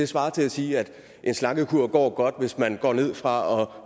svarer til at sige at en slankekur går godt hvis man går ned fra